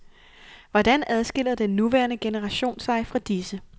Hvordan adskiller den nuværende generation sig fra disse?